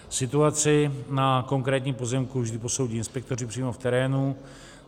Situaci na konkrétním pozemku vždy posoudí inspektoři přímo v terénu.